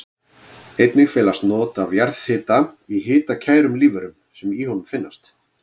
Einnig felast not af jarðhita í hitakærum lífverum sem í honum finnast.